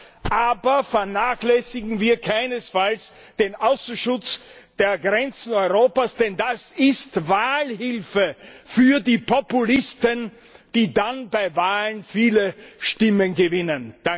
Ja, aber vernachlässigen wir keinesfalls den Außenschutz der Grenzen Europas, denn das ist Wahlhilfe für die Populisten, die dann bei Wahlen viele Stimmen gewinnen.